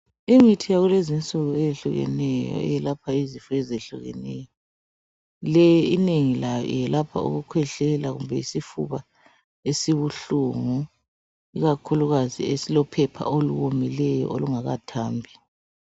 Imithi yakulezinsuku eyehlukeneyo eyelapha iizifo ezehlukeneyo le inengi layo yelapha ukukhwehlela kumbe isifuba esibuhlungu ikakhulukazi esilophepha olomileyo olungakathambi.